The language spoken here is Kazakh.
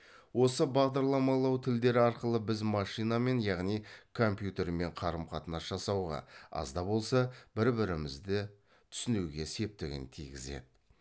осы бағдарламалау тілдері арқылы біз машинамен яғни компьютермен қарым қатынас жасауға аз да болса бір бірімізде түсінуге септігін тигізеді